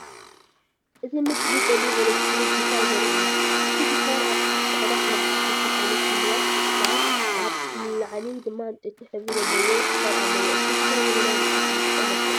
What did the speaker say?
እዚ ምስሊ ጸሊም ኤሌክትሪክ ጊታር ዘርኢ እዩ። እታ ጊታር ኣብ ታሕቲ ጻዕዳ ፕላስቲክ መሸፈኒ ክህልዋ ከ ኣብ ላዕሊ ድማ ዕንጨይቲ ሕብሪ ዘለዎ ክሳድ ኣለዎ። እታ ጊታር ዘመናዊ መሳርሒ ሙዚቃ መልክዕ ኣለዋ።